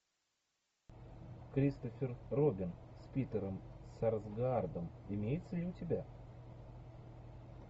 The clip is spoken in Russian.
кристофер робин с питером сарсгаардом имеется ли у тебя